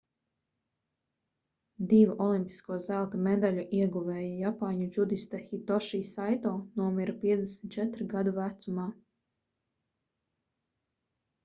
divu olimpisko zelta medaļu ieguvēja japāņu džudiste hitoši saito nomira 54 gadu vecumā